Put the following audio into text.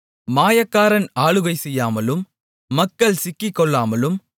மாயக்காரன் ஆளுகை செய்யாமலும் மக்கள் சிக்கிக்கொள்ளாமலும்